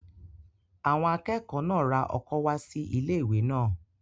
Àwọn akẹ́kọ̀ọ́ náà ra ọkọ́ wá sí ilé-ìwé náà